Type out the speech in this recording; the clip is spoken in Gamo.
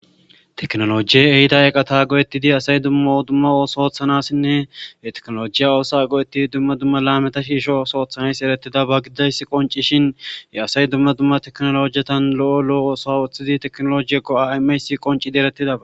teknolojiye ehida eqata go7ettidi asay dumma dumma ooso oothanassinne e teknolojiya oosa go7ettidi dumma dumma laameta shiisho oos oothanays eretida ba gidays qonci shin ye asay dumma dumma teknolojiyetan lo7o lo7o oosa uththidi teknolojie go7amays qoncidi eretida